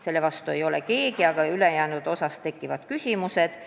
Selle vastu ei ole keegi, aga ülejäänu suhtes tekivad küsimused.